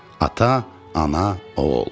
Ata, ana, oğul.